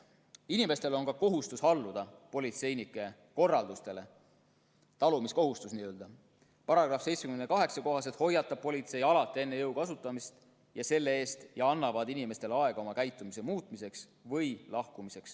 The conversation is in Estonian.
Inimestel on kohustus alluda politseinike korraldustele – see on n-ö talumiskohustus –,§ 78 kohaselt hoiatab politsei alati enne jõu kasutamist selle eest ja annab inimestele aega oma käitumist muuta või lahkuda.